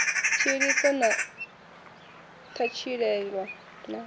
tshiḽiso na u ṱatshilelwa na